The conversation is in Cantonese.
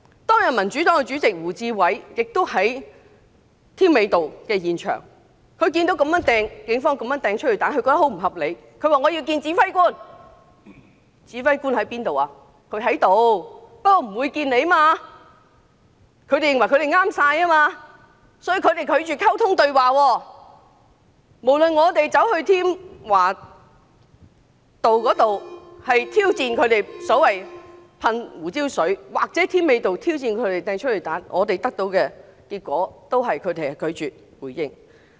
當日民主黨主席胡志偉議員亦在添美道現場，他見到警方這樣亂投催淚彈，覺得很不合理，要求與指揮官見面，指揮官雖然在場，但拒絕見他，因為他們認為警方的做法正確，故此拒絕溝通對話，無論我們走到添華道挑戰他們噴射胡椒水或走到添美道挑戰他們投擲催淚彈，我們得到的結果都是拒絕回應。